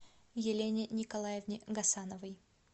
елене николаевне гасановой